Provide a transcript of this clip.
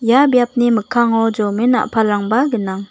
ia biapni mikkango jomen a·palrangba gnang.